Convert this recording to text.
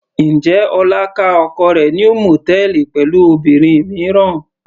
Njẹ́ Ọlá ká oko rẹ̀ ní mòtẹ́ẹ́lì pẹ̀lú obìnrin mìíràn.